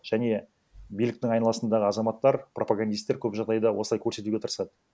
және биліктің айналасындағы азаматтар пропагандисттер көп жағдайда осылай көрсетуге тырысады